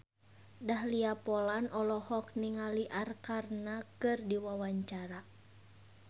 Dahlia Poland olohok ningali Arkarna keur diwawancara